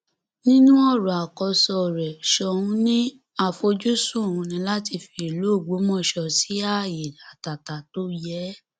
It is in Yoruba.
nínú ọrọ àkóso rẹ soun ní àfojúsùn òun ni láti fi ìlú ògbómọṣọ sí ààyè àtàtà tó yé e